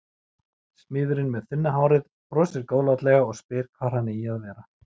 Smiðurinn með þunna hárið brosir góðlátlega og spyr hvar hann eigi að vera.